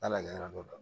N'ala ɲɛ don